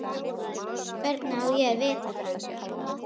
Hvernig á ég að vita það?